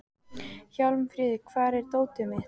Hjálmfríður, hvar er dótið mitt?